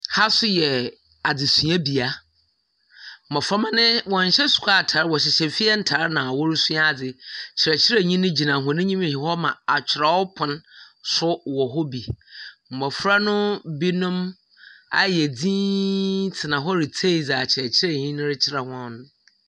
Ha so yɛ adusuabea mmofra mma no wɔn nhyehyɛe asuafoɔ ntaade, wɔ hyehyɛ efie ntaade na ɔresua ade. Ɔkyerɛkyerɛni no gyina wɔn anim na atwerɛ pono nso wɔ hɔ bi. Mmofra no bi nom ayɛ tena hɔ retie nea ɔkyerɛkyerɛni no rekyerɛ wɔn no.